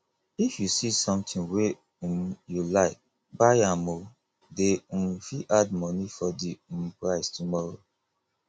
if you see sometin wey um you like buy am o dey um fit add moni for di um price tomorrow